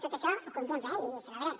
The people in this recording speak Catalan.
tot això ho contempla eh i ho celebrem